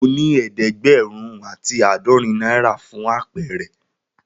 Mo ni ẹẹdẹgbẹrun ati aadọrin naira fún àpẹrẹ.